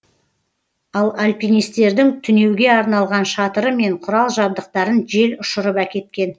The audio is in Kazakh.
ал альпинистердің түнеуге арналған шатыры мен құрал жабдықтарын жел ұшырып әкеткен